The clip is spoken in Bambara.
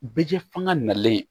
Bɛ kɛ fanga nalen